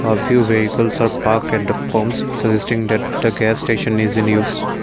a few vehicles are park at the pumps suggesting that the gas station is in use.